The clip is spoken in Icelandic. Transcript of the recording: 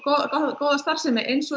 góða starfsemi eins og